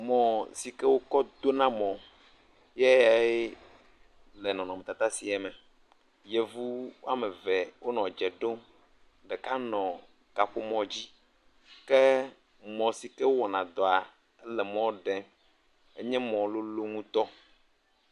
Mɔ si ke wokɔ dona mɔ ye le nɔnɔmatata sia me, yevu woame eve wonɔ dze ɖom, ɖeka le kaƒomɔ dzi ke mɔ sike wowɔna dɔa wole emɔ ɖem.